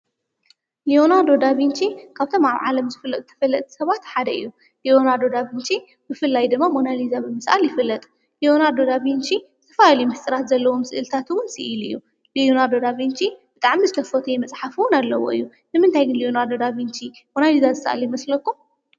ልዮናልዶ ዳቪንቺ ካብቶም ኣብ ዓለም ዝፍለጡ ተፈለጥቲ ሰባት ሓደ እዩ፡፡ ሊዮናለዶ ዳቪንቺ ብፍላይ ድማ ሞናሊዛ ብምስኣል ይፍለጥ፡፡ ልዮናዶ ዳቪንቺ ዝተፈላለየ ምስሥራት ዘለዎም ስእልታት ውን ስኢሉ እዩ፡፡ ልዮናለዶ ዳቪንቺ ብጣዕሚ ዝተፈተየ መጽሓፍ ዉን ኣለዎ እዩ፡፡ ንምንታይ ልዮናልዶ ዳቪንቺ ሞናሊዛ ዝሰኣለ ይመስለኩም?